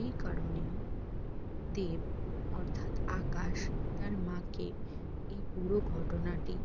এই কারণেই দেব অর্থাৎ আকাশ তার মাকে এই পুরো ঘটনাটি